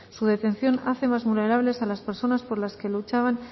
su detención hace más vulnerables a las personas por las que luchaban